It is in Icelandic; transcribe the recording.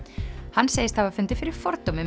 hann segist hafa fundið fyrir fordómum